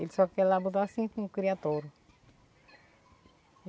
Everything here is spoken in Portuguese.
Ele só quer ir lá e botar assim com criatório.